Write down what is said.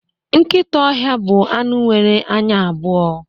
Nkịta ọhịa bụ anụ nwere anya abụọ